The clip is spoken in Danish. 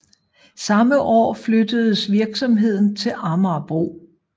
Samme år flyttedes virksomheden til Amagerbro